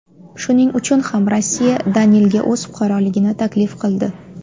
Shuning uchun ham Rossiya Danilga o‘z fuqaroligini taklif qildi.